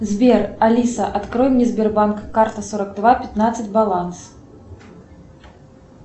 сбер алиса открой мне сбербанк карта сорок два пятнадцать баланс